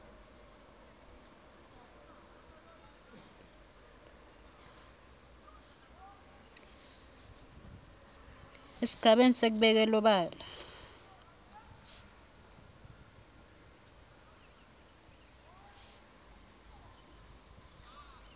esigabeni sekubeka elubala